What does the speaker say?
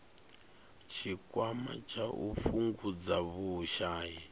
tshikwama tsha u fhungudza vhushai